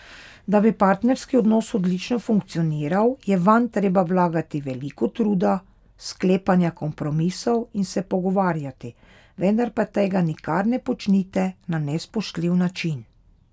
Da bi partnerski odnos odlično funkcioniral, je vanj treba vlagati veliko truda, sklepanja kompromisov in se pogovarjati, vendar pa tega nikar ne počnite na nespoštljiv način.